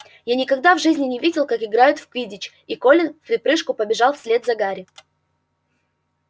я никогда в жизни не видел как играют в квиддич и колин вприпрыжку побежал вслед за гарри